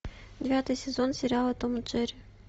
девятый сезон сериала том и джерри